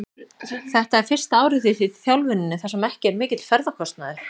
Þetta er fyrsta árið þitt í þjálfuninni þar sem ekki er mikill ferðakostnaður?